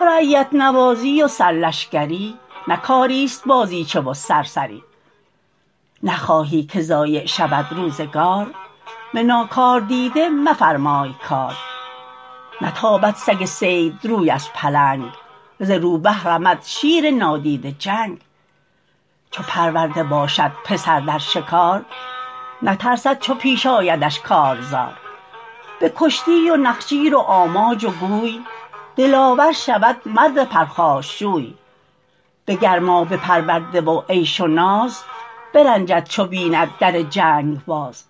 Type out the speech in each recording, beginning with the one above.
رعیت نوازی و سر لشکری نه کاری است بازیچه و سرسری نخواهی که ضایع شود روزگار به ناکاردیده مفرمای کار نتابد سگ صید روی از پلنگ ز روبه رمد شیر نادیده جنگ چو پرورده باشد پسر در شکار نترسد چو پیش آیدش کارزار به کشتی و نخجیر و آماج و گوی دلاور شود مرد پرخاشجوی به گرمابه پرورده و عیش و ناز برنجد چو بیند در جنگ باز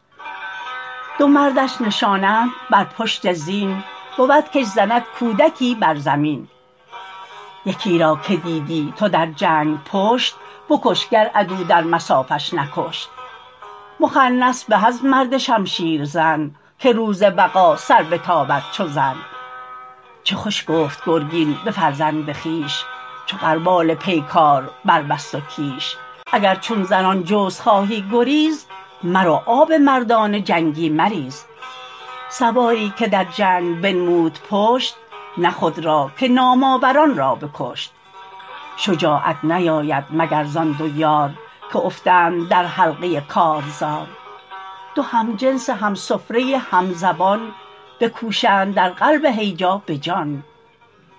دو مردش نشانند بر پشت زین بود کش زند کودکی بر زمین یکی را که دیدی تو در جنگ پشت بکش گر عدو در مصافش نکشت مخنث به از مرد شمشیر زن که روز وغا سر بتابد چو زن چه خوش گفت گرگین به فرزند خویش چو قربان پیکار بربست و کیش اگر چون زنان جست خواهی گریز مرو آب مردان جنگی مریز سواری که در جنگ بنمود پشت نه خود را که نام آوران را بکشت شجاعت نیاید مگر زآن دو یار که افتند در حلقه کارزار دو همجنس همسفره همزبان بکوشند در قلب هیجا به جان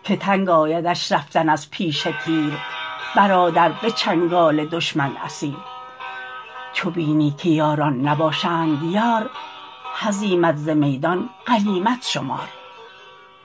که تنگ آیدش رفتن از پیش تیر برادر به چنگال دشمن اسیر چو بینی که یاران نباشند یار هزیمت ز میدان غنیمت شمار